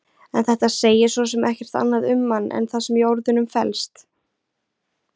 En þetta segir svo sem ekkert annað um hann en það sem í orðunum felst.